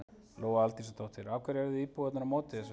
Lóa Aldísardóttir: Af hverju eruð þið íbúarnir á móti þessu?